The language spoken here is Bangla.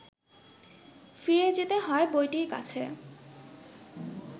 ফিরে যেতে হয় বইটির কাছে